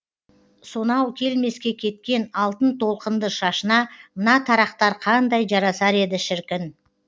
сонау келмеске кеткен алтын толқынды шашына мына тарақтар қандай жарасар еді шіркін